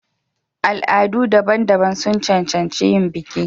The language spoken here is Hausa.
Al'adu daban-daban sun cancanci yin biki.